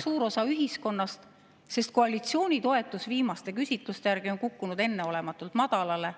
… enam suur osa ühiskonnast, sest koalitsiooni toetus viimaste küsitluste järgi on kukkunud enneolematult madalale,